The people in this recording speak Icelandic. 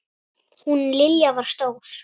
Hún Lilja var stór.